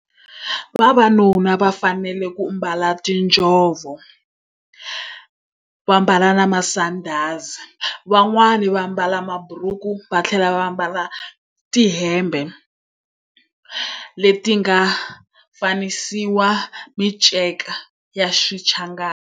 Vavanuna va fanele ku ambala tinjhovo, va ambala na masandhazi. Van'wani va ambala maburuku va tlhela va ambala tihembe leti nga fanisiwa minceka ya xichangani.